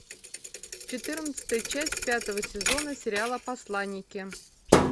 четырнадцатая часть пятого сезона сериала посланники